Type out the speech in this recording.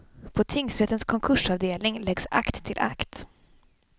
På tingsrättens konkursavdelning läggs akt till akt.